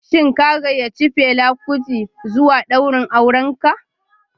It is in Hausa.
Shin ka gayyaci Fela kuti zuwa daurin auren ka?